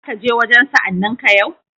Za ka je wajen sa'anninka yau?